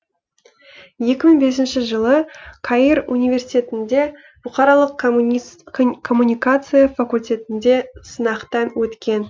екі мың бесінші жылы каир университетінде бұқаралық коммуникация факультетінде сынақтан өткен